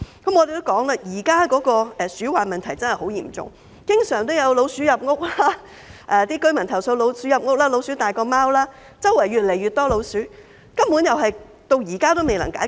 我們亦指出，現在鼠患問題真是十分嚴重，經常有居民投訴老鼠入屋、老鼠比貓還要大，周圍越來越多老鼠，這問題根本至今仍未能解決。